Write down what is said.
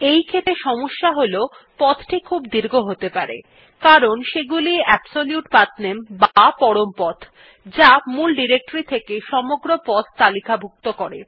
এইক্ষেত্রে সমস্যা হল পথটি খুব দীর্ঘ হতে পারে কারণ এগুলি হল অ্যাবসোলিউট পাঠনামে বা পরম পথ যা মূল ডিরেক্টরী থেকে সমগ্র পথ তালিকাভুক্ত করে